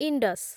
Indus